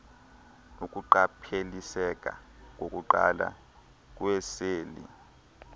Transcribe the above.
ukuqapheliseka kokuqala kweeseli